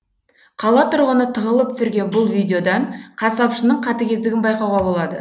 қала тұрғыны тығылып түсірген бұл видеодан қасапшының қатігездігін байқауға болады